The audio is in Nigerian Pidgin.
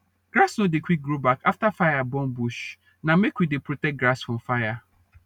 grass nor dey quick grow back afta fire burn bush na make we dey protect grass from fire